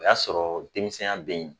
O y'a sɔrɔ denmisɛnya bɛ yen